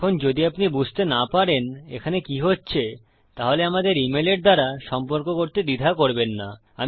এখন যদি আপনি বুঝতে না পারেন এখানে কি হচ্ছে তাহলে আমাদের ইমেল এর দ্বারা সম্পর্ক করতে দ্বিধা করবেন না